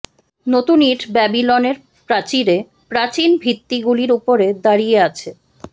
নতুন ইট ব্যাবিলনের প্রাচীরে প্রাচীন ভিত্তিগুলির উপরে দাঁড়িয়ে আছে